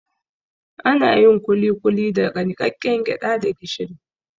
Anayin kulikuli daga niƙaƙƙen gyaɗa da gishiri